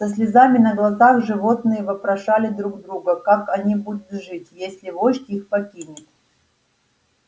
со слезами на глазах животные вопрошали друг друга как они будут жить если вождь их покинет